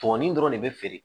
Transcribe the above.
Tɔn nin dɔrɔn de bɛ feere